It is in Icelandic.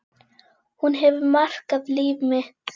Hún hefur markað líf mitt.